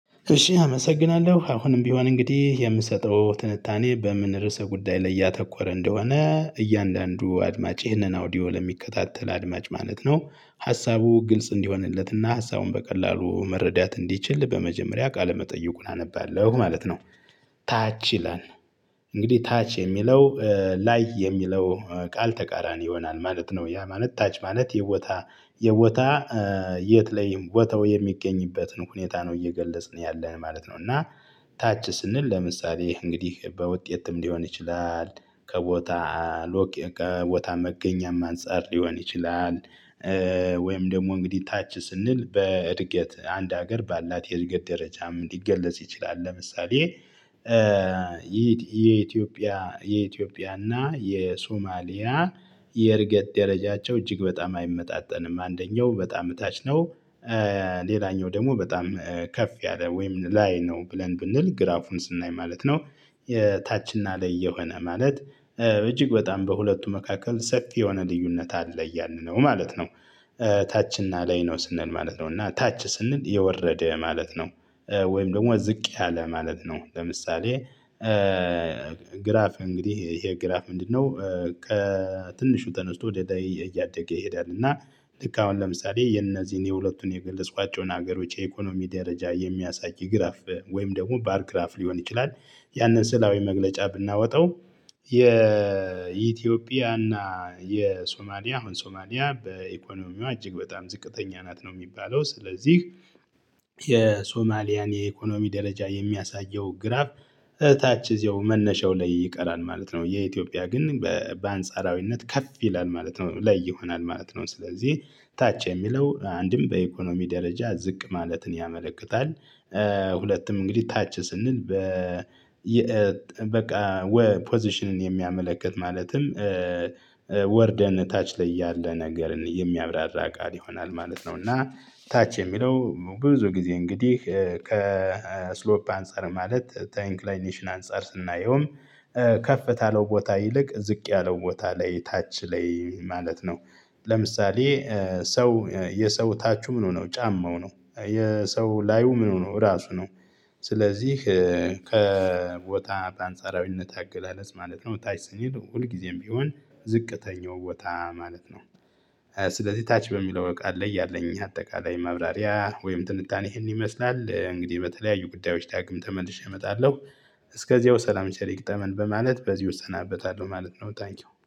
እሺ አመሰግናለሁ አሁንም ቢሆን እንግዲህ የምሰጠው ትንታኔ በምን ርዕሰ ጉዳይ ላይ ያተኮረ እንደሆነ እያንዳንዱ አድማጭ ይህንን አውዲዮ ለሚከታተል አድማጭ ማለት ነው ሀሳቡ ግልጽ እንዲሆንለት እና ሀሳቡን በቀላሉ መረዳት እንዲችል በመጀመሪያ ቃለመጠይቁን አነባለሁ ማለት ነው። ታች ይላል እንግዲህ ታች የሚለው ላይ የሚለው ቃል ተቃራኒ ይሆናል ማለት ነው። ያ ማለት ታች ማለት የቦታ የቦታ የት ላይም ቦታው የሚገኝበትን ሁኔታ ነው እየገለጽን ያለን ማለት ነው። እና ታች ስንል ለምሳሌ እንግዲህ በውጤትም ሊሆን ይችላል ከቦታ ሎጌ ከቦታ መገኛም አንፃር ሊሆን ይችላል። ወይም ደግሞ እንግዲህ ታች ስንል በእድገት አንድ ሀገር ባላት የእድገት ደረጃ ምን ሊገለጽ ይችላል? ለምሳሌ የኢትዮጵያ እና የሶማሊያ የእድገት ደረጃቸው እጅግ በጣም አይመጣጠንም አንደኛው በጣም እታች ነው። ሌላኛው ደግሞ በጣም ከፍ ያለ ወይም ላይ ነው ብለን ብንል ግራፉን ስናይ ማለት ነው። የታች እና ላይ የሆነ ማለት እጅግ በጣም በሁለቱ መካከል ሰፊ የሆነ ልዩነት አለ እያልን ነው ማለት ነው። ታች እና ላይ ነው ስንል ማለት ነው እና ታች ስንል የወረደ ማለት ነው። ወይም ደግሞ ዝቅ ያለ ማለት ነው ለምሳሌ ግራፍ እንግዲህ ይሄ ግራፍ ምንድነው? ከትንሹ ተነስቶ ወደ ላይ እያደገ ይሄዳል። እና ልክ አሁን ለምሳሌ የእነዚህን የሁለቱን የገለጽኳቸውን ሀገሮች የኢኮኖሚ ደረጃ የሚያሳይ ግራፍ ወይም ደግሞ ባርግራፍ ሊሆን ይችላል። ያንን ስዕላዊ መግለጫ ብናወጣው። የኢትዮጵያ እና የሶማሊያ አሁን ሶማሊያ በኢኮኖሚዋ እጅግ በጣም ዝቅተኛ ናት ነው ሚባለው ስለዚህ። የሶማሊያን የኢኮኖሚ ደረጃ የሚያሳየው ግራፍ እታች እዚያው መነሻው ላይ ይቀራል ማለት ነው። የኢትዮጵያ ግን በ በአንጻራዊነት ከፍ ይላል ማለት ነው ላይ ይሆናል ማለት ነው። ስለዚህ ታች የሚለው አንድም በኢኮኖሚ ደረጃ ዝቅ ማለትን ያመለክታል። ሁለትም እንግዲህ ታች ስንል በ የ በቃ ወ ፖዚሽንን የሚያመለክት ማለትም ወርደን ታች ላይ ያለ ነገርን የሚያብራራ ቃል ይሆናል ማለት ነው። እና ታች የሚለው ብዙ ጊዜ እንግዲህ ከስሎፕ አንፃር ማለት ተ ተኢንክላይኔሽን አንፃር ስናየውም ከፍ ታለው ቦታ ይልቅ ዝቅ ያለው ቦታ ላይ ታች ላይ ማለት ነው። ለምሳሌ ሰው የሰው ታቹ ምኑ ነው ጫማው ነው የሰው ላዩ ምኑ ነው ራሱ ነው። ስለዚህ ከቦታ በአንጻራዊነት አገላለጽ ማለት ነው ታች ስንል ሁልጊዜም ቢሆን ዝቅተኛው ቦታ ማለት ነው። ስለዚህ ታች በሚለው ቃል ላይ ያለኝ አጠቃላይ ማብራሪያ ወይም ትንታኔ ይህን ይመስላል እንግዲህ በተለያዩ ጉዳዮች ዳግም ተመልሼ እመጣለሁ። እስከዚያው ሰላም ቸር ይግጠመን በማለት በዚሁ እሰናበታለሁ ማለት ነው። ታንኪው